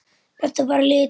Þetta er bara litur.